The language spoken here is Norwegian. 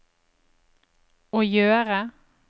å gjøre